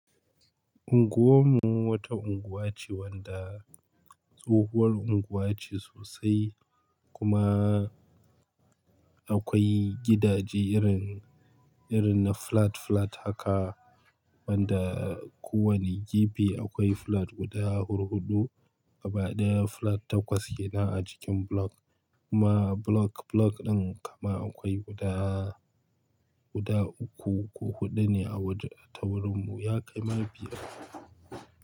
Unguwar mu wata unguwa ce wadda tsohuwar unguwa ce sosai kuma akwai gidaje irin, irin na flat flat haka wadda kowane gida akwai flat guda hurhudu, a baɗi flat takwas ke nan a cikin block kuma block, block ɗin kama akwai guda, guda uku ko huɗu ne a waje. A taurin mu ya kai ma biyar.